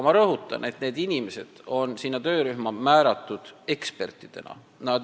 Ma rõhutan, et need inimesed on sinna töörühma määratud ekspertidena.